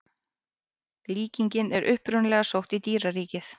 Líkingin er upprunalega sótt í dýraríkið.